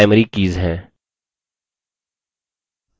वे primary keys हैं